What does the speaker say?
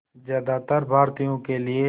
ज़्यादातर भारतीयों के लिए